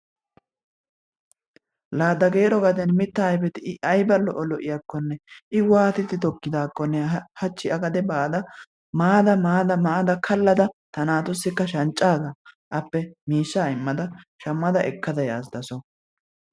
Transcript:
La Dageero gaden mitaa ayfeti I ayba lo'o lo'iyakkonne I waattidi tokkidaakkonne hachchi A gade baada maada maada kaladda ta naatussikka shanccan miishshaa immada shammada ekkada yaas taso.